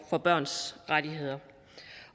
af børns rettigheder